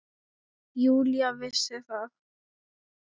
Júlía vissi það.